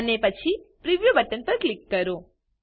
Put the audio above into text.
અને પછી preview button પર ક્લિક કરો